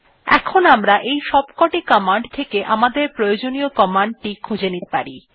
এখন আমরা এই সবকটি কমান্ড থেকে আমাদের প্রয়োজনীয় কমান্ড টি খুঁজে নিতে পারি